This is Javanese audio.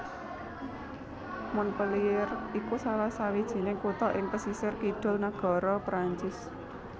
Montpellier iku salah sawijining kutha ing pesisir kidul nagara Perancis